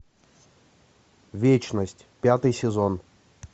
вечность пятый сезон